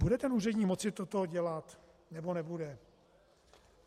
Bude ten úředník moci toto dělat, nebo nebude?